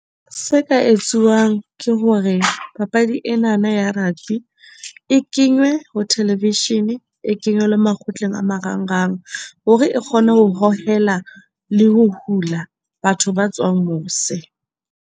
Se ka etsuwang ke hore, papadi enana ya rugby e kenywe ho Television, e kenywe le makgotleng a marangrang hore e kgone ho hohela le ho hula batho ba tswang mose.